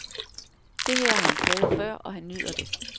Det her har han prøvet før, og han nyder det.